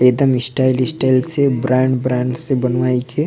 एक दम style style से ब्रांड ब्रांड से बनवाई के--